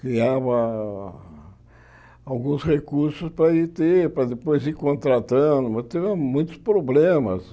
Criava alguns recursos para depois ir contratando, mas teve muitos problemas.